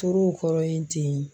Toro kɔrɔ yen ten.